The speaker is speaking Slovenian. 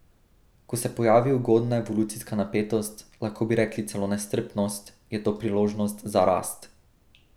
Ko se pojavi ugodna evolucijska napetost, lahko bi rekli celo nestrpnost, je to priložnost za rast.